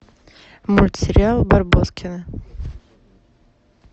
мультсериал барбоскины